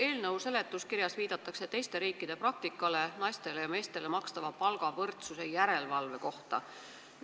Eelnõu seletuskirjas viidatakse naistele ja meestele makstava palga võrdsuse järelevalve praktikale teistes riikides.